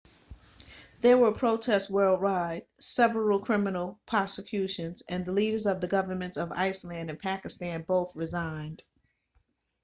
there were protests worldwide several criminal prosecutions and the leaders of the governments of iceland and pakistan both resigned